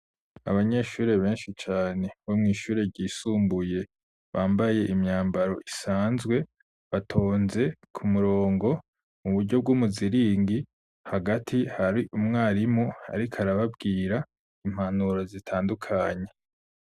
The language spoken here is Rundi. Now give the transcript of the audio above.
Abanyeshure, benshi cane, bo mw'ishure ryisumbuye, bambaye imyambaro isanzwe, batonze ku murongo, mu buryo bw'umuziringi; hagati hari umwarimu, ariko arababwira, impanuro zitandukanye.